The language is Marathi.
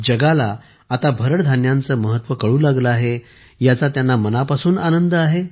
जगाला आता भरड धान्यांचे महत्त्व कळू लागले आहे याचा त्यांना मनापासून आनंद आहे